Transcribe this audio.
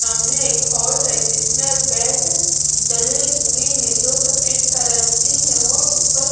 सामने एक हॉल है जिसमें बेड जले हुएँ हैं जो सफेद कलर के हैं और ऊपर--